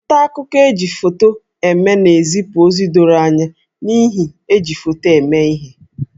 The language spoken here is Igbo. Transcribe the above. Nta akụkọ e ji foto eme na-ezipụ ozi doro anya n'ihi iji foto eme ihe